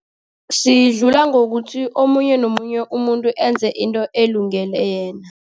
Sidlula ngokuthi omunye nomunye umuntu enze into elungele yena.